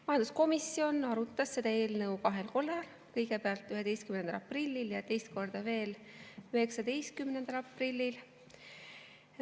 Majanduskomisjon arutas seda eelnõu kahel korral, kõigepealt 11. aprillil ja teist korda veel 19. aprillil.